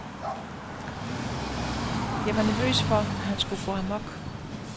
Jeg var nervøs for, at han skulle gå amok.